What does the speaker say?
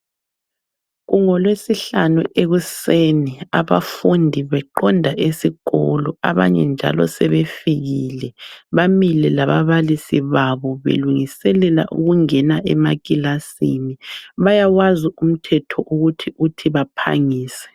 KungolweSihlanu ekuseni abafundi beqonda esikolo, abanye njalo sebefikile bamile lababalisi babo belungiselela ukungena emakilasini. Bayawazi umthetho uthi baphangise.